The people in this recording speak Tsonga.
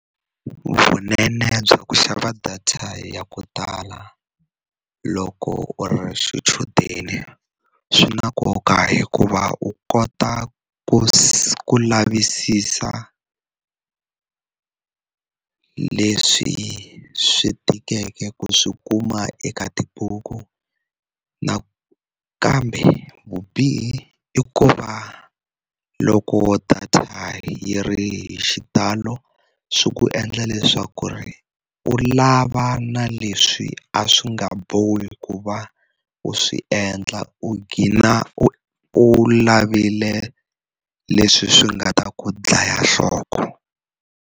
Vunene bya ku xava data ya ku tala loko u ri xichudeni swi na nkoka hikuva u kota ku si lavisisa leswi swi tikeke ku swi kuma eka tibuku nakambe vubihi i ku va loko data yi ri hi xitalo swi ku endla leswaku ri u lava na leswi a swi nga bohi ku va u swi endla u gcina u u lavile leswi swi nga ta ku dlaya nhloko.